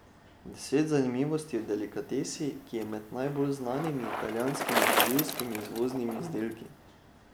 Deset zanimivosti o delikatesi, ki je med najbolj znanimi italijanskimi živilskimi izvoznimi izdelki.